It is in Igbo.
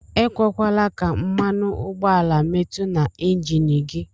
Ekwekwana ka mmanụugbọala mmetu na enjin gi.